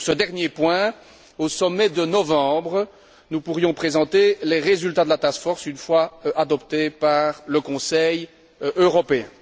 Sur ce dernier point, au sommet de novembre, nous pourrions présenter les résultats de la task force une fois adoptés par le Conseil européen.